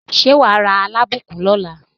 Ṣé wà á ra Alábùkún lọ́la?